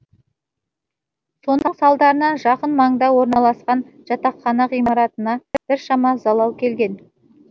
соның салдарынан жақын маңда орналасқан жатақхана ғимаратына біршама залал келген